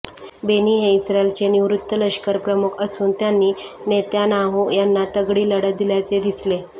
बेनी हे इस्रायलचे निवृत्त लष्करप्रमुख असून त्यांनी नेत्यानाहू यांना तगडी लढत दिल्याचे दिसले